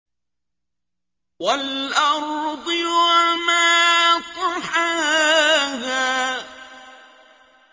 وَالْأَرْضِ وَمَا طَحَاهَا